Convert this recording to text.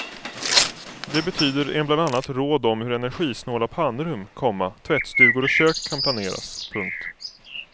Det betyder en bland annat råd om hur energsinåla pannrum, komma tvättstugor och kök kan planeras. punkt